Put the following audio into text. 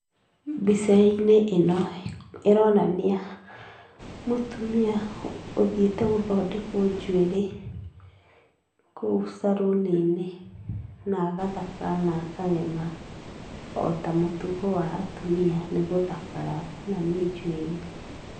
Mbica-inĩ ĩno ĩronania mũtumia ũthiĩte gũthondekwo njuĩrĩ, kũu caruni-inĩ na agathakara na akagema, o ta mũtugo wa atumia nĩ gũthakara na nĩ njuĩrĩ.